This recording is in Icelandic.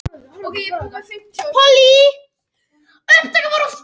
Eiður Smári gerði lítið úr þessari tölfræði.